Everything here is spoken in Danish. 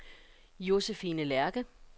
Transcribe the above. Josefine Lerche